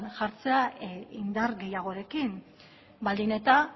jartzea indar gehiagorekin baldin eta